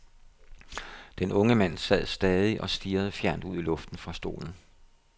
Den unge mand sad stadig og stirrede fjernt ud i luften fra stolen.